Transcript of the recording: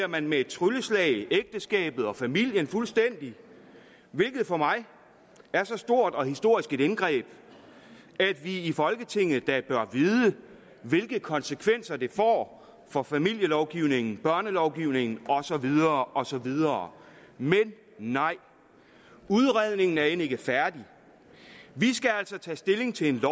man med et trylleslag ægteskabet og familien fuldstændig hvilket for mig er så stort og historisk et indgreb at vi i folketinget da bør vide hvilke konsekvenser det får for familielovgivningen børnelovgivningen og så videre og så videre men nej udredningen er end ikke færdig vi skal altså tage stilling til et